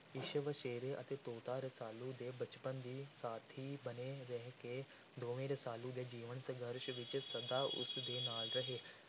ਇਸ ਵਛੇਰੇ ਅਤੇ ਤੋਤਾ ਰਸਾਲੂ ਦੇ ਬਚਪਨ ਦੇ ਸਾਥੀ ਬਣੇ ਰਹਿ ਕੇ ਦੋਵੇਂ ਰਸਾਲੂ ਦੇ ਜੀਵਨ ਸੰਘਰਸ਼ ਵਿੱਚ ਸਦਾ ਉਸ ਦੇ ਨਾਲ ਰਹੇ।